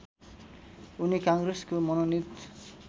उनी काङ्ग्रेसको मनोनित